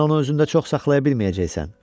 Sən onu özündə çox saxlaya bilməyəcəksən.